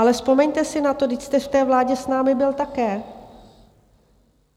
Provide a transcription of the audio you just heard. Ale vzpomeňte si na to, vždyť jste v té vládě s námi byl také.